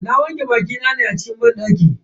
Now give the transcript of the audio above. Na wanke bakina ne a cikin banɗaki.